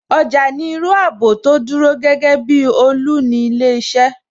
Ọjà ni irú ààbò tí ó dúró gẹ́gẹ́ bí olùni ilé iṣẹ́